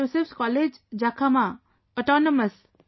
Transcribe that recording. Joseph's College, Jakhama Autonomous